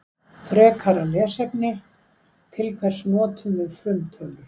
Frekara lesefni Til hvers notum við frumtölur?